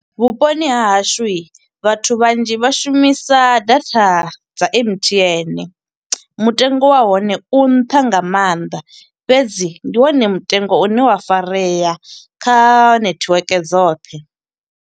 Vhuponi ha hashu, vhathu vhanzhi vha shumisa data dza M_T_N. Mutengo wa hone u nṱha nga maanḓa, fhedzi ndi wone mutengo une wa farea kha nethiweke dzoṱhe.